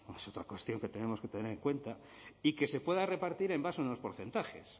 es otra cuestión que tenemos que tener cuenta y que se pueda repartir en base a unos porcentajes